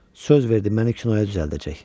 Söz verdi məni kinoya düzəldəcək.